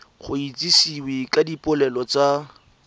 go itsisiwe ka dipoelo tsa